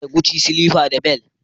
Ina da Gucci slippers da bel